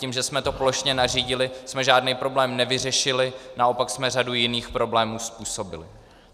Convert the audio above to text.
Tím, že jsme to plošně nařídili, jsme žádný problém nevyřešili, naopak jsme řadu jiných problémů způsobili.